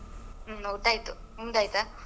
ಹ್ಮ್ ಊಟ ಆಯ್ತು ನಿಮ್ದಾಯ್ತಾ?